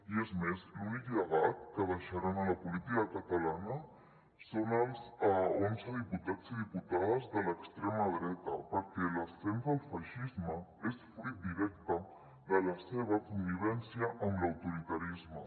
i és més l’únic llegat que deixaran a la política catalana són els onze diputats i diputades de l’extrema dreta perquè l’ascens del feixisme és fruit directe de la seva connivència amb l’autoritarisme